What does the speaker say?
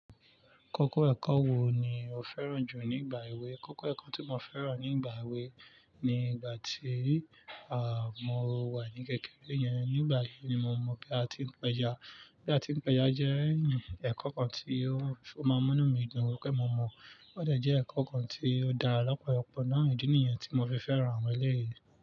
Kọ́kọ́ ẹ̀kọ́ wo ni o fẹ́ràn jù nígbà èwe? Kọ́kọ́ ẹ̀kọ́ tí mo fẹ́ràn nígbà èwe ni ìgbà tí, à, mo wà ní kékeré yẹn. Nígbà yẹn ni mo mọ̀ pé a ti ń pẹja. Bí a ti ń pẹja jẹ́ ẹ̀kọ́ kan tí ó, ó mọ́ mi nu ìdun wípé mo mọ̀. Ó dẹ̀ jẹ́ ẹ̀kọ́ kan tí ó dára lọ́pọ̀lọpọ̀ náà nìdí nìyẹn tí mo fi fẹ́ràn àwọn ilé-ìwé.